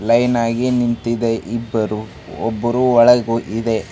Line ಆಗಿ ನಿಂತಿದೆ ಇಬ್ಬರು ಒಬ್ಬರು ಒಳ ಹೋಗಿದೆ.